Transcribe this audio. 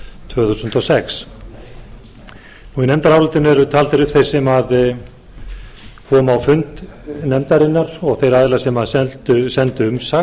tvö þúsund og sex í nefndarálitinu eru taldir upp þeir sem komu á fund nefndarinnar og þeir aðilar sem sendu